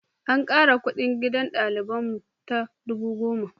An ƙara kuɗin gidan ɗaliban mu da dubu goma.